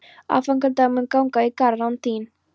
Aðfangadagur mun ganga í garð án þín.